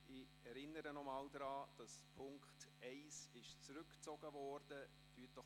Ich erinnere Sie daran, dass Punkt 1 zurückgezogen worden ist.